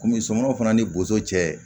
Komi sokɔnɔw fana ni boso cɛ